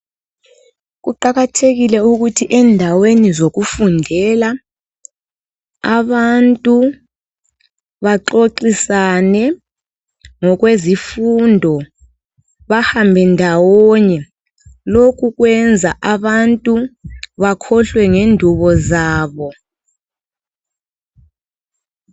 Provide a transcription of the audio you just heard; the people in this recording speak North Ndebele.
Kuqakathekile ukuthi endaweni zokufundela abantu baxoxisane ngokwezifundo. Bahambe ndawonye. Lokhu kwenza abantu bakhohlwe ngendubo zabo.